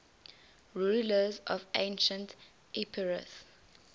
rulers of ancient epirus